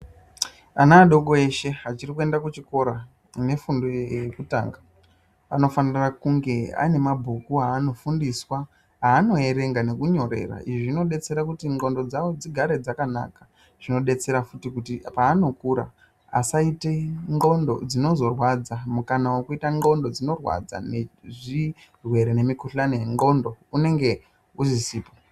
Ana adoko eshe achiri kuenda kuchikora nefundo yekutanga anofanira kunge ane mabhuku aanofundiswa anoerenga nekunyorera izvi zvinobatsira kuti ndxondo dzawo dzigare dzakanaka zvinodetsera futi kuti paanokura asazoita ndxondo dzinozorwadza kukana wekuia mukuhlani nezvirwere zvendxondo unenge usizi